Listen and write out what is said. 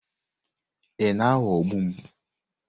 Ị na-aghọgbu m?